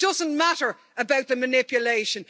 It doesn't matter about the manipulation.